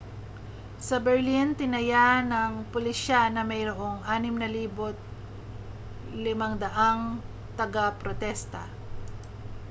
sa berlin tinaya ng pulisya na mayroong 6,500 tagaprotesta